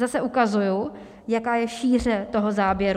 Zase ukazuji, jaká je šíře toho záběru.